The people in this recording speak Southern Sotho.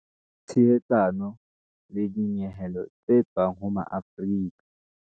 Tshehetsano le dinyehelo tse tswang ho Maafrika